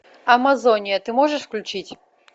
амазония ты можешь включить